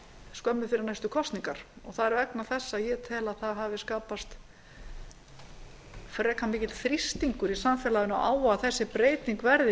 skömmu fyrir næstu kosningar það er vegna þess að ég tel að það hafi skapast frekar mikill þrýstingur í samfélaginu á að þessi breyting verði